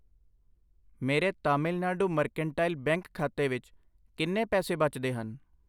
ਮੇਰੇ Tamil Nadu mercantile bank ਖਾਤੇ ਵਿੱਚ ਕਿੰਨੇ ਪੈਸੇ ਬਚਦੇ ਹਨ?